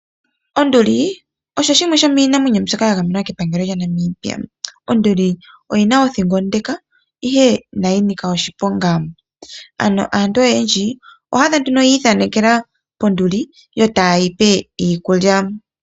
Onduli osho shimwe sho miinamwenyo mbyoka ya gamenwa kepangelo lyaNamibia. Onduli oyina othingo ondeka ihe inayi nika oshiponga. Ano aantu oyendji oho adha nduno yi ithanekela pOnduli yo ta yeyi pe iikulya.